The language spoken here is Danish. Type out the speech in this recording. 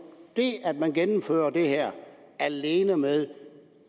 det at man gennemfører det her alene med